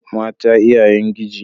Mata iyayen giji.